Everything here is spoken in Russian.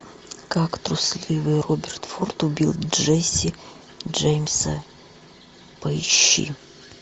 как трусливый роберт форд убил джесси джеймса поищи